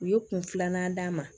U ye kun filanan d'a ma